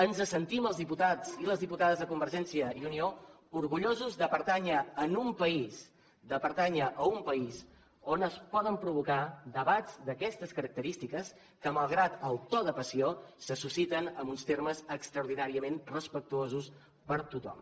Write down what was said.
ens sentim els diputats i les diputades de convergència i unió orgullosos de pertànyer a un país on es poden provocar debats d’aquestes característiques que malgrat el to de passió se susciten en uns termes extraordinàriament respectuosos per tothom